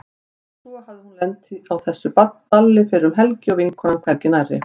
En svo hafði hún lent á þessu balli um fyrri helgi og vinkonan hvergi nærri.